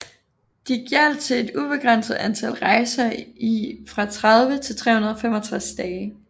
De gjaldt til et ubegrænset antal rejser i fra 30 til 365 dage